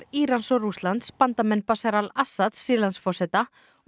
Írans og Rússlands bandamenn Bashar al Assads Sýrlandsforseta og